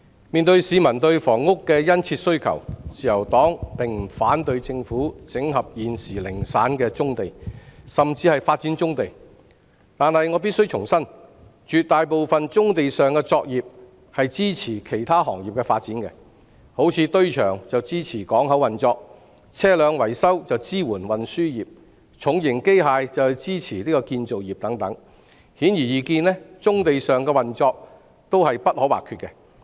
面對市民對房屋的殷切需求，自由黨並不反對政府整合現時零散的棕地，甚至發展棕地，但我必須重申，絕大部分棕地上的作業須是用於支持其他行業的發展，例如堆場是支持港口運作、車輛維修是支援運輸業、重型機械則是支持建造業等；顯而易見，棕地上的運作均是不可或缺的。